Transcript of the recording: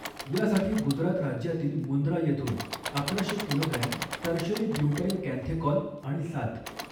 यासाठी गुजरात राज्यातील मुंद्रा येथून अकराशे किलोग्रॅम टर्शरी ब्युटाईलकँथेकॉल आणि सात.